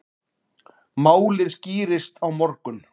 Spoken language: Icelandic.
Málið skýrist á morgun.